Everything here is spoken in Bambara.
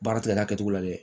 Baara tigɛ da kɛcogo la dɛ